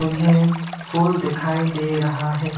ये फूल दिखाई दे रहा है।